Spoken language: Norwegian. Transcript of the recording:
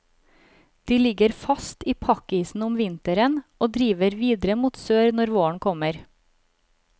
De ligger fast i pakkisen om vinteren og driver videre mot sør når våren kommer.